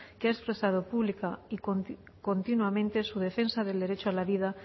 que ha expresado pública y continuamente su defensa del derecho a la vida